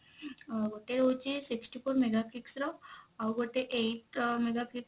ଆ ଗୋଟେ ହଉଛି sixty four mega pix ର ଆଉ ଗୋଟେ eight mega pix ର